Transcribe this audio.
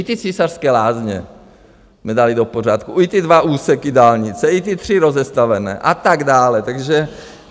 I ty Císařské lázně jsme dali do pořádku, i ty dva úseky dálnice, i ty tři rozestavené a tak dále.